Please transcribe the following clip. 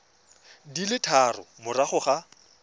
di le tharo morago ga